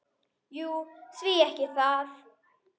Jú, því ekki það?